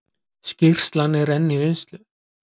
Skýrslan enn í vinnslu